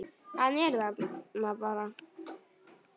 Hann er það bara.